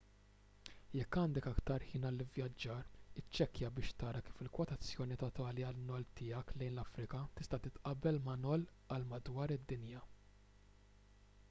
jekk għandek aktar ħin għall-ivvjaġġar iċċekkja biex tara kif il-kwotazzjoni totali tan-noll tiegħek lejn l-afrika tista' titqabbel ma' noll għal madwar id-dinja